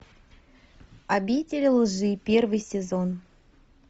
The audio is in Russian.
обитель лжи первый сезон